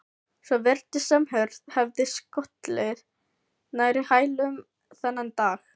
Svo virtist sem hurð hefði skollið nærri hælum þennan dag.